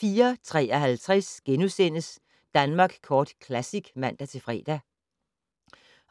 04:53: Danmark Kort Classic *(man-fre)